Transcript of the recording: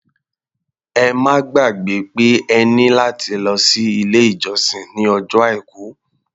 Ẹ má gbàgbẹ́ pé ẹ ní láti lọ sí ilé-ìjọsìn ní ọjọ́ Àìkú.